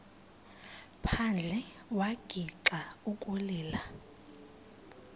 phandle wagixa ukulila